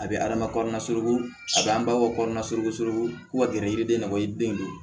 A bɛ adama surun a bɛ an ba fɔ kɔnɔna surun ka gɛrɛ i yɛrɛ den na ko i den don